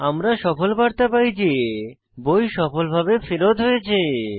আমরা সফল বার্তা পাই যে বই সফলভাবে ফেরৎ হয়েছে